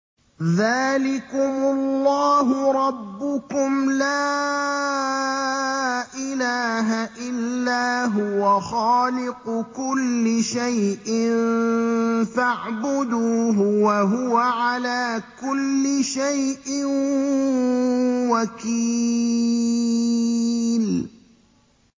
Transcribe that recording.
ذَٰلِكُمُ اللَّهُ رَبُّكُمْ ۖ لَا إِلَٰهَ إِلَّا هُوَ ۖ خَالِقُ كُلِّ شَيْءٍ فَاعْبُدُوهُ ۚ وَهُوَ عَلَىٰ كُلِّ شَيْءٍ وَكِيلٌ